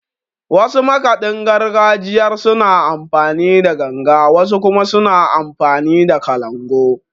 Wasu makaɗin gargajiyar suna amfani da Ganga, wasu kuma suna amfani da Kalangu.